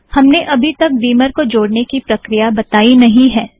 हमने अबी तक बीमर को जोड़ने की प्रक्रिया बताई नहीं है